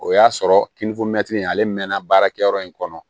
O y'a sɔrɔ ale mɛnna baarakɛyɔrɔ in kɔnɔ